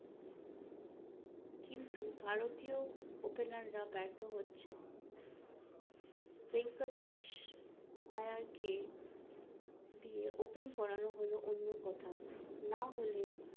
কিন্তু ভারতীয় opener রা বার্থ হচ্ছেন ভেঙ্কটেশ আয়ার কে দিয়ে open করানো হলো অন্য কথা না হলে